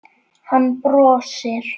Hann brosir.